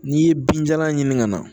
N'i ye binjalan ɲini ka na